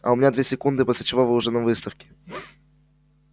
а у меня две секунды после чего вы уже на выставке